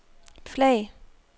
flag